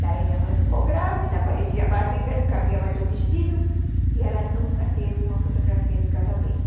Daí minha mãe ficou grávida, aparecia a barriga, não cabia mais o vestido e ela nunca teve uma fotografia de casamento.